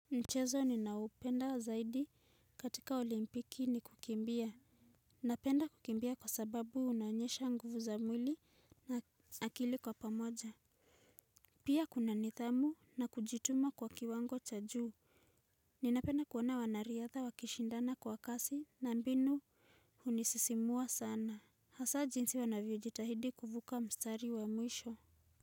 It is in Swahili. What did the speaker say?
Mchezo ninaoupenda zaidi katika olimpiki ni kukimbia. Napenda kukimbia kwa sababu unanyesha nguvu za mwili na akili kwa pamoja. Pia kuna nidhamu na kujituma kwa kiwango cha juu. Ninapenda kuona wanariadha wakishindana kwa kasi na mbinu hunisisimua sana, hasa jinsi wanavyo jitahidi kuvuka mstari wa mwisho.